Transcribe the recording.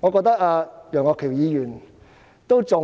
我認為楊岳橋議員對這